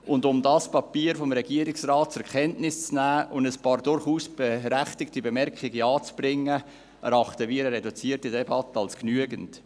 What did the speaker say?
Und um dieses Papier des Regierungsrats zur Kenntnis zu nehmen und ein paar durchaus berechtigte Bemerkungen anzubringen, erachten wir eine reduzierte Debatte als genügend.